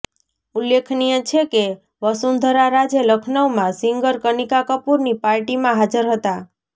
ઉલ્લેખનીય છે કે વસુંધરા રાજે લખનૌમાં સિંગર કનિકા કપૂરની પાર્ટીમાં હાજર હતા